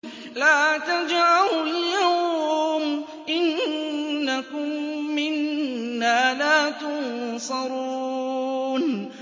لَا تَجْأَرُوا الْيَوْمَ ۖ إِنَّكُم مِّنَّا لَا تُنصَرُونَ